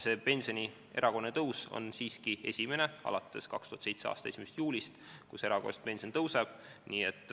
See pensioni erakorraline tõus on siiski esimene alates 2007. aasta 1. juulist.